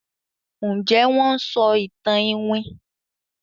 Njé Wón ń sọ ìtàn iwin?